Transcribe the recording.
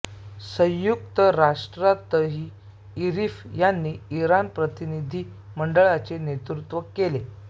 संयुक्त राष्ट्रातही झरीफ यांनी इराणी प्रतिनिधी मंडळाचे नेतृत्व केले